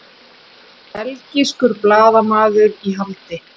Belgískur blaðamaður í haldi